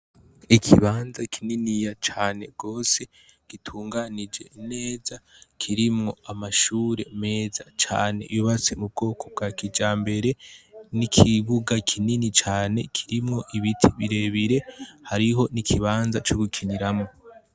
Ikibanza kininiya cane gose gitunganije neza kirimwo amashure meza cane yubatse m’ubwoko bwa kijambere n'ikibuga kinini cane kirimwo ibiti birebire hariho n'ikibuga co gukiniramwo.